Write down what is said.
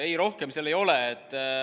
Ei, rohkemat seal ei ole.